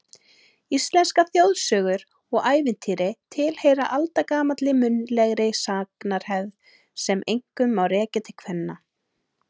Íslenskar þjóðsögur og ævintýri tilheyra aldagamalli munnlegri sagnahefð sem einkum má rekja til kvenna.